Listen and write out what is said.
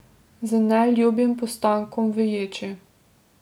Z neljubim postankom v ječi.